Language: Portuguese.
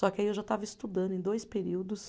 Só que aí eu já estava estudando em dois períodos.